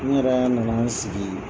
N yɛrɛ na na n sigi